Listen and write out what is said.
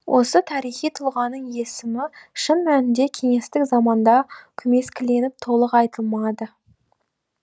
осы тарихи тұлғаның есімі шын мәнінде кеңестік заманда көмескіленіп толық айтылмады